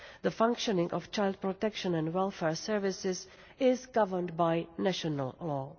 The functioning of child protection and welfare services is governed by national